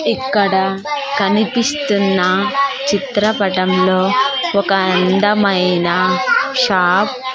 ఇక్కడ కనిపిస్తున్న చిత్రపటంలో ఒక అందమైన షాప్ .